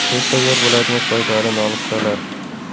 Tez tayyor bo‘ladigan foydali nonushtalar.